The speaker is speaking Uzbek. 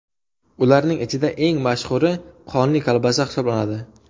Ularning ichida eng mashhuri qonli kolbasa hisoblanadi.